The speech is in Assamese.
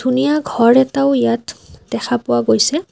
ধুনীয়া ঘৰ এটাও ইয়াত দেখা পোৱা গৈছে।